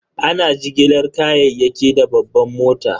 Ana jigilar kayayyaki da babban mota.